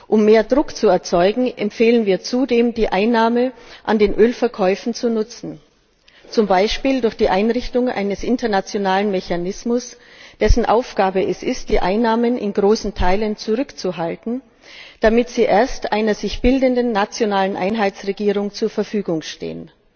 Um mehr Druck zu erzeugen, empfehlen wir zudem, die Einnahmen aus den Ölverkäufen zu nutzen, zum Beispiel durch die Einrichtung eines internationalen Mechanismus, dessen Aufgabe es ist, die Einnahmen in großen Teilen zurückzuhalten, damit sie erst einer sich bildenden nationalen Einheitsregierung zur Verfügung stehen.